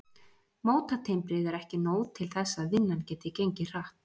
Mótatimbrið er ekki nóg til þess að vinnan geti gengið hratt.